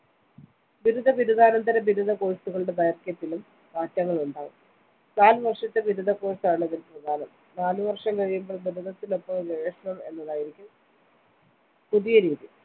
ബിരുദ ബിരുദാന്തര ബിരുദ course കളുടെ ദൈര്‍ഘ്യത്തിലും മാറ്റങ്ങളുണ്ടാകും. നാലുവര്‍ഷത്തെ ബിരുദ course ആണ് ഇതില്‍ പ്രധാനം നാലു വര്‍ഷം കഴിയുമ്പോള്‍ ബിരുദത്തിനൊപ്പം ഗവേഷണം എന്നതായിരിക്കും പുതിയ രീതി.